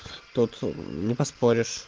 тут не поспоришь